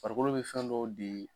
Farikolo be fɛn dɔw de